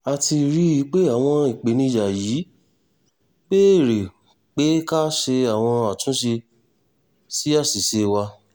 a ti rí i pé àwọn ìpèníjà yìí béèrè pé ká ṣe àwọn àtúnṣe sí àṣìṣe wa